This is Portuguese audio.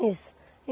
Isso.